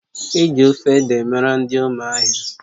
Eji ofe ede mara ndị ụmụahia